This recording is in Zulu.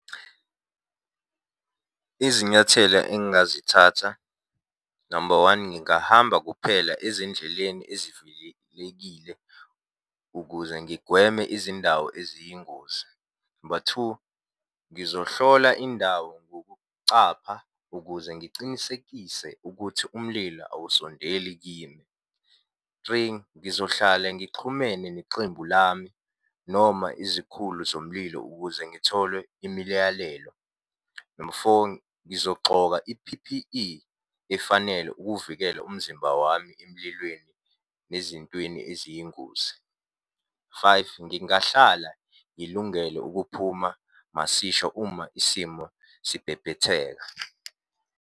Izinyathela engingazithatha, number one, ngingahamba kuphela ezindleleni ezivuyelekile ukuze ngigweme izindawo eziyingozi. Number two, ngizohlola indawo ngokucapha, ukuze ngicinisekise ukuthi umlilo awusondeli kimi. Three, ngizohlala ngixhumene neqembu lami noma izikhulu zomlilo ukuze ngithole imiyalelo. Number four, ngizogxoka i-P_P_E efanele ukuvikela umzimba wami emlilweni nezintweni eziyingozi. Five, ngingahlala ngilungele ukuphuma masisha uma isimo sibhebhetheka.